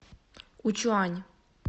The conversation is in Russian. учуань